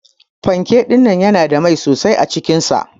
Panke dinnan yana da mai sosai acikin sa.